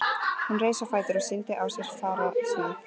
Hún reis á fætur og sýndi á sér fararsnið.